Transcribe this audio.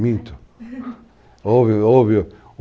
Minto.